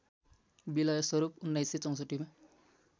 विलय स्वरूप १९६४ मा